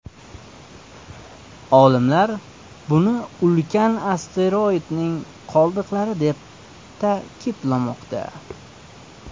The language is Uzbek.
Olimlar buni ulkan asteroidning qoldiqlari deb ta’kidlamoqda.